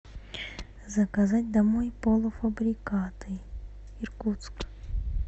заказать домой полуфабрикаты иркутск